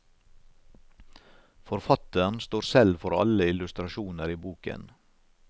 Forfatteren står selv for alle illustrasjoner i boken.